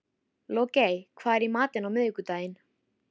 Logey, hvað er í matinn á miðvikudaginn?